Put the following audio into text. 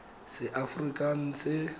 seaforikanse